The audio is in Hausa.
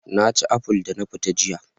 Na ci aful da na fita jiya